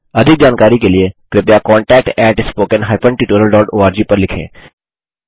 अधिक जानकारी के लिए कृपया contact at spoken hyphen tutorial dot org पर लिखें